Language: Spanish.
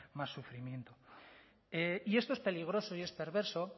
más sufrimiento y esto es peligroso y es perverso